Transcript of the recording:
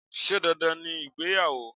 Sé dandan ni ìgbéyàwó?